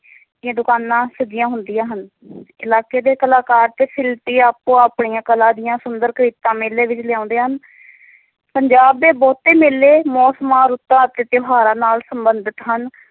ਦੀਆਂ ਦੁਕਾਨਾਂ ਸਜੀਆਂ ਹੁੰਦੀਆਂ ਹਨ ਇਲਾਕੇ ਦੇ ਕਲਾਕਾਰ ਤੇ ਸ਼ਿਲਪੀ ਆਪੋ ਆਪਣੀਆਂ ਕਲਾ ਦੀਆਂ ਸੁੰਦਰ ਕ੍ਰਿਤਾਂ, ਮੇਲੇ ਵਿੱਚ ਲਿਆਉਂਦੇ ਹਨ ਪੰਜਾਬ ਦੇ ਬਹੁਤ ਮੇਲੇ ਮੌਸਮਾਂ, ਰੁੱਤਾਂ ਅਤੇ ਤਿਉਹਾਰਾਂ ਨਾਲ ਸੰਬੰਧਿਤ ਹਨ।